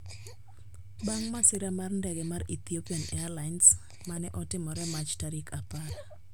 Bang' masira mar ndege mar Ethiopian Airlines, ma ne otimore Mach tarik apar